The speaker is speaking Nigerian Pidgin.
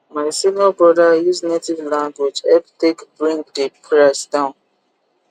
my senior brother use native language help take bring di price down